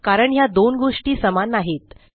कारण ह्या दोन गोष्टी समान नाहीत